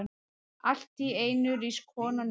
Alltíeinu rís konan upp.